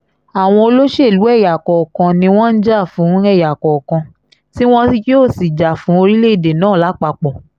àwọn olóṣèlú ẹ̀yà kọ̀ọ̀kan ni wọ́n ń jà fún ẹ̀yà kọ̀ọ̀kan tí wọn yóò sì jà fún orílẹ̀-èdè náà lápapọ̀